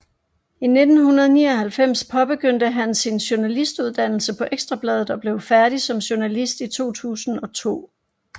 I 1999 påbegyndte han sin journalistuddannelse på Ekstra Bladet og blev færdig som journalist i 2002